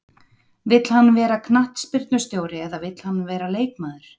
Vill hann vera knattspyrnustjóri eða vill hann vera leikmaður?